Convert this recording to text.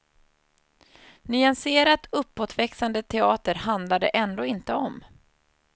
Nyanserat uppåtväxande teater handlar det ändå inte om.